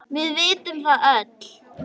Við vitum það öll.